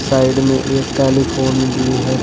Side में एक telephone भी है।